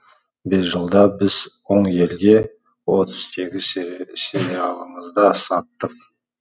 бес жылда біз он елге отыз сегіз сериалымызды саттық